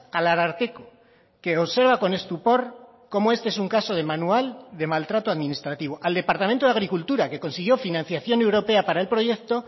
al ararteko que observa con estupor como este es un caso de manual de maltrato administrativo al departamento de agricultura que consiguió financiación europea para el proyecto